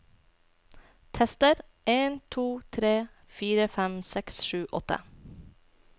Tester en to tre fire fem seks sju åtte